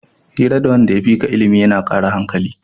Hira da wanda ya fika ilimi yana kara hankali